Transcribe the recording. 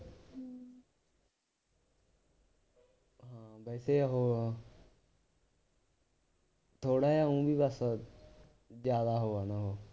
ਵੈਸੇ ਉਹ ਥੋੜ੍ਹਾ ਜਿਹਾ ਊਂ ਵੀ ਬੱਸ ਜ਼ਿਆਦਾ ਉਹ ਆ ਨਾ ਉਹ